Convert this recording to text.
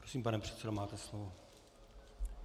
Prosím, pane předsedo, máte slovo.